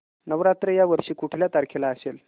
नवरात्र या वर्षी कुठल्या तारखेला असेल